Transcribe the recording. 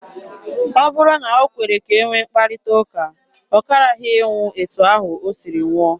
Ọ bụrụ na o kwere ka e nwee mkparịta ụka, ọ karaghị ịnwụ etu ahụ o siri nwụọ.